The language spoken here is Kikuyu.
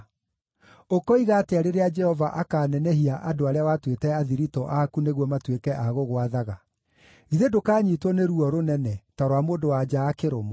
Ũkoiga atĩa rĩrĩa Jehova akaanenehia andũ arĩa watuĩte athiritũ aku nĩguo matuĩke a gũgwathaga? Githĩ ndũkanyiitwo nĩ ruo rũnene, ta rwa mũndũ-wa-nja akĩrũmwo?